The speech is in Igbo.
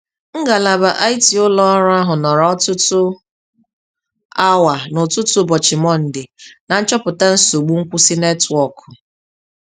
Ngalaba IT ụlọ ọrụ ahụ nọrọ ọtụtụ awa n'ụtụtụ ụbọchị Mọnde na-nchọpụta nsogbu nkwụsị netwọkụ.